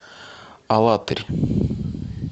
алатырь